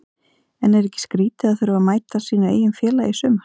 En er ekki skrítið að þurfa að mæta sínu eigin félagi í sumar?